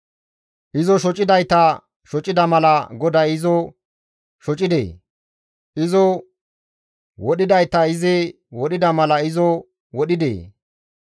Izo shocidayta shocida mala GODAY izo shocidee? Izo wodhidayta izi wodhida mala izo wodhidee?